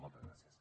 moltes gràcies